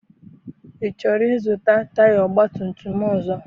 I chọrọ I zụta taya ọgbatumtum ọzọ?